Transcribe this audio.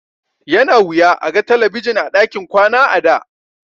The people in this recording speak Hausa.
Yana wuya a ga talabijin a ɗakin kwana a da.